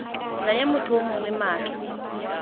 naya motho yo mongwe maatla